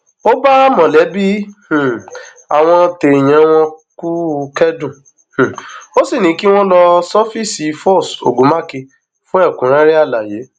ó bá mọlẹbí um àwọn téèyàn wọn kú kẹdùn um ó sì ní kí wọn lọ sọfíìsì foss ogunmákun fún ẹkúnrẹrẹ àlàyé